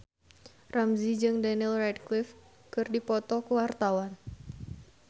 Ramzy jeung Daniel Radcliffe keur dipoto ku wartawan